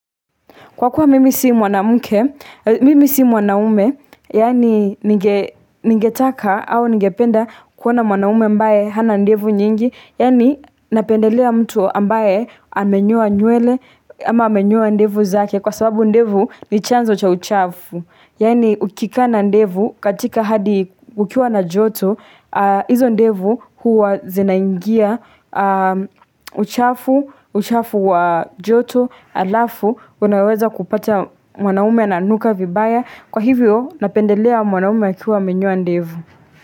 Kwa kuwa mimi si mwanamke, mimi si mwanaume, yani ningetaka au ningependa kuona mwanaume ambaye hana ndevu nyingi, yani napendelea mtu ambaye amenyoa nywele ama amenyoa ndevu zake kwa sababu ndevu ni chanzo cha uchafu. Yani ukikaa na ndevu katika hadi ukiwa na joto, hizo ndevu huwa zinaingia uchafu, uchafu wa joto, Alafu unaweza kupata mwanaume ananuka vibaya Kwa hivyo napendelea mwanaume akiwa amenyoa ndevu.